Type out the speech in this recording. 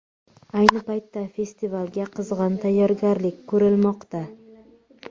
Ayni paytda festivalga qizg‘in tayyorgarlik ko‘rilmoqda.